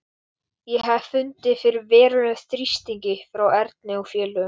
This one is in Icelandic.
En þið þið eruð þjóðinni til skammar, flissandi pelabörn.